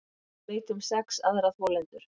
Veit um sex aðra þolendur